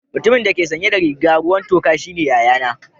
Mutumin da ke sanye da riga ruwan toka shine yayana.